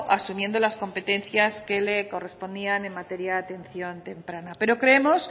asumiendo las competencias que le correspondían en materia de atención temprana pero creemos